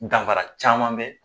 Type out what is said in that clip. Danfara caman be